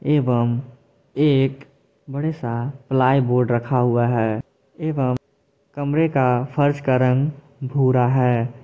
एवं एक बड़ा सा प्लाई बोर्ड रखा हुआ है एवं कमरे का फर्श का रंग भूरा है।